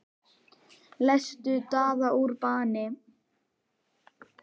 Leystu Daða úr banni, sagði Ari biðjandi.